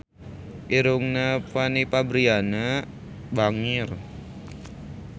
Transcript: Irungna Fanny Fabriana bangir